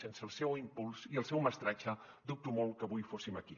sense el seu impuls i el seu mestratge dubto molt que avui fóssim aquí